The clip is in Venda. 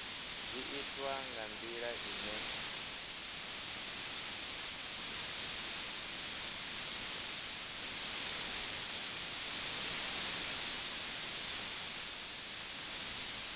zwi itwa nga ndila ine